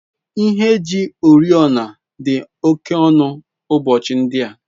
Ihe eji oriọna dị oke ọnụ ụbọchị ndị a.